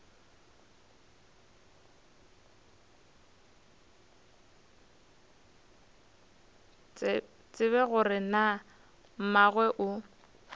tsebe gore na mmagwe o